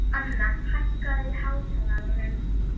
Anna, hækkaðu í hátalaranum.